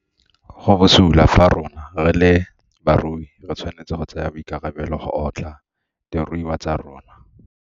Go bosula fa rona, re le barui, re tshwanetse go tsaya boikarabelo go otla diruiwa tsa rona.